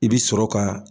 I bi sɔrɔ ka